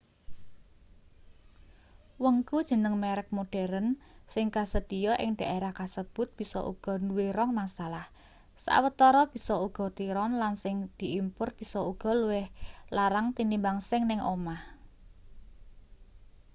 wengku jeneng merek modheren sing kasedhiya ing dhaerah kasebut bisa uga duwe rong masalah sawetara bisa uga tiron lan sing diimpur bisa uga luwih larang tinimbang sing ning omah